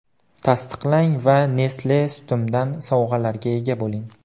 Tasdiqlang va Nestle® Sutim’dan sovg‘alarga ega bo‘ling!